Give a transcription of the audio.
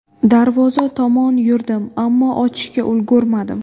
Darvoza tomon yurdim, ammo ochishga ulgurmadim.